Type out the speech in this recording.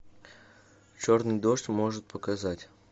черный дождь может показать